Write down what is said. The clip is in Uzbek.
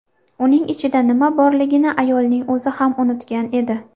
Uning ichida nima borligini ayolning o‘zi ham unutgan edi.